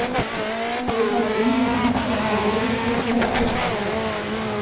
Þeir hafa unnið ítölsku úrvalsdeildina tvisvar.